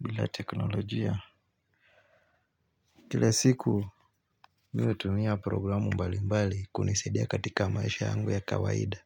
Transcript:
Bila teknolojia. Kila siku natumia programu mbali mbali kunisadia katika maisha yangu ya kawaida.